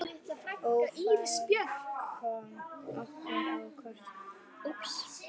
Ófærð kom okkur á kortið.